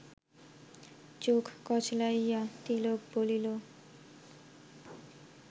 চোখ কচলাইয়া তিলক বলিল